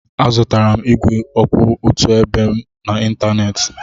Azụtara m ígwè kwụ otu ebe n'ịntanetị.